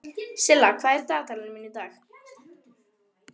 Silla, hvað er í dagatalinu mínu í dag?